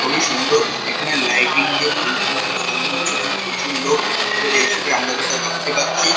খুবই সুন্দর। এখানে লাইটিং দিয়ে ফুলফুল দিয়ে সাজানো হয়েছে। এখানে প্রচুর লোক ভিড় করে এসেছে। আমরা যেটা দেখতে পাচ্ছি।